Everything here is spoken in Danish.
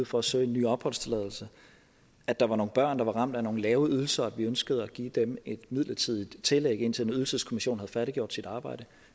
for at søge en ny opholdstilladelse at der var nogle børn der var ramt af nogle lave ydelser og at vi ønskede at give dem et midlertidigt tillæg indtil en ydelseskommission havde færdiggjort sit arbejde